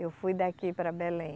Eu fui daqui para Belém.